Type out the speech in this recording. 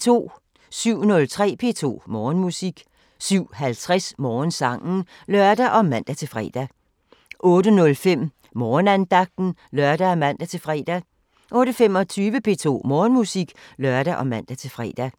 07:03: P2 Morgenmusik 07:50: Morgensangen (lør og man-fre) 08:05: Morgenandagten (lør og man-fre) 08:25: P2 Morgenmusik (lør og man-fre)